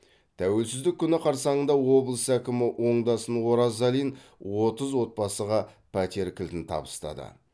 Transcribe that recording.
тәуелсіздік күні қарсаңында облыс әкімі оңдасын оразалин отыз отбасыға пәтер кілтін табыстады